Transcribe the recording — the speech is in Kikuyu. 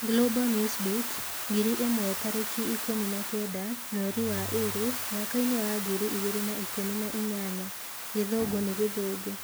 Global Newsbeat ngiri ĩmwe tarĩki ikũmi na kenda, mweri wa ĩrĩ, mwakaini wa ngiri igĩrĩ na ikũmi na inyanya Gĩthũngũ nĩ gĩthũngũ